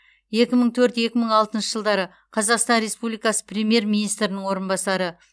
екі мың төрт екі мың алтыншы жылдары қазақстан республикасы премьер министрінің орынбасары